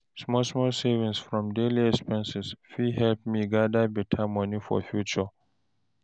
Small small savings from daily expenses fit help me gather better money for future.